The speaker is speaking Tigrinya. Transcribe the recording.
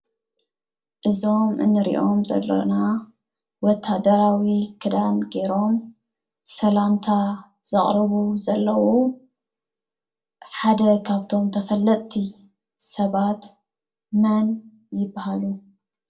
እዞም እንሪኦም ዘለና ወታደራዊ ክዳን ገይሮም ሰላምታ ዘቅርቡ ዘለው ሓደ ካብቶም ተፈለጥቲ ሰባት መን ይበሃሉ ?